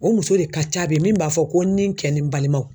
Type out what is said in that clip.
O muso de ka ca bi min b'a fɔ ko ni n kɛ ni n balimaw